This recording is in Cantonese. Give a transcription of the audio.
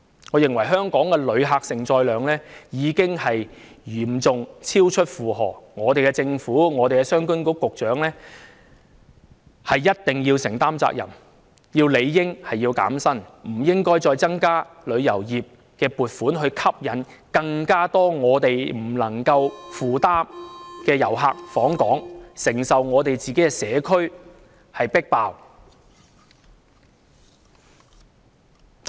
我認為香港的旅客承載量已經嚴重超出負荷，政府、商務及經濟發展局局長一定要承擔責任，局長理應要減薪，而且，政府亦不應再增加旅遊業撥款以吸引更多遊客訪港，令本港不能夠負擔，要我們承受社區"迫爆"的結果。